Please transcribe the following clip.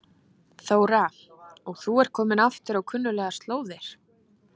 Þóra: Og þú ert kominn aftur á kunnuglegar slóðir?